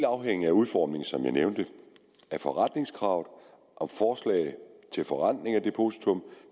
afhænge af udformningen som jeg nævnte af forrentningskravet om forslag til forrentning af depositum